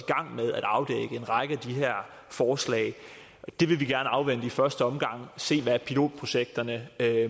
gang med at afdække en række af de her forslag det vil vi gerne afvente i første omgang og se hvad pilotprojekterne